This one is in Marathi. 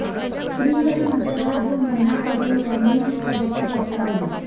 श्रीहरी नटराज व मना पटेल यांनी ही पदके पटकावली